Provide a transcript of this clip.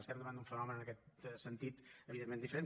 estem davant d’un fenomen en aquest sentit evidentment diferent